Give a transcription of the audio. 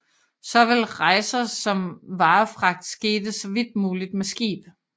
Såvel rejser som varefragt skete så vidt muligt med skib